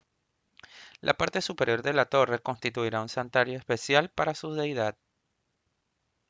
la parte superior de la torre constituía un santuario especial para su deidad